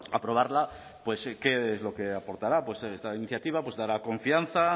aprobarla pues qué es lo que aportará pues esta iniciativa dará confianza